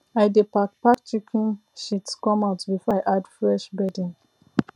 i dey pack pack chicken shit come out before i add fresh bedding